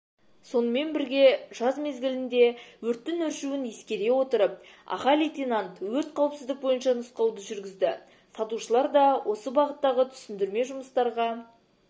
сонымен бірге жаз мезгілінде өрттің өршуін ескере отырып аға лейтенант өрт қауіпсіздік бойынша нұсқауды жүргізді сатушылар да осы бағыттағы түсіндірме жұмыстарға